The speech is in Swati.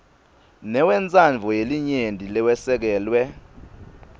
newentsandvo yelinyenti lowesekelwe